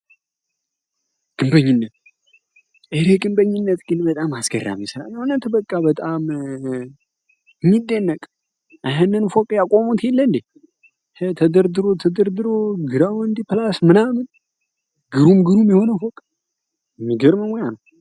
ኤሬ ግንበኝነት ግን በጣም አስገራሚ ሰራ ሆነትበቃ በጣም እሚደነቅ አይህንን ፎቅ ያቆሙት ይለንዴ ህ ተደርድሮ ተድርድሮ ግራወንዲ ፕላስ ምናምን ግሩም ግሩም የሆነ ፎቅ የሚገርም ሙያ ነው።